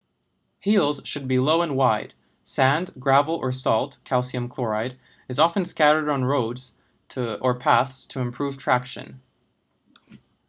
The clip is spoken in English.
heels should be low and wide. sand gravel or salt calcium chloride is often scattered on roads or paths to improve traction